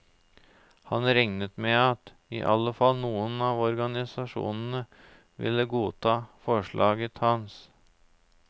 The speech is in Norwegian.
Han regnet med at i alle fall noen av organisasjonene ville godta forslaget hans.